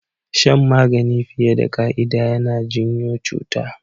Shan magani fiye da ƙa'ida yana janyo cuta